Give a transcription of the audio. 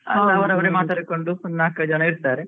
ಮಾತಾಡಿಕೊಂಡು ಒಂದು ನಾಲ್ಕು ಐದು ಜನ ಇರ್ತಾರೆ.